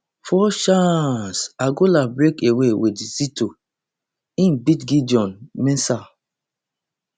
four chaaaaaanceangola break away wit zito im beat gideon mensah